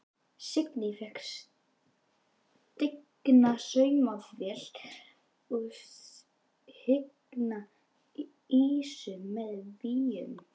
Signý fékk stigna saumavél og signa ýsu með víum.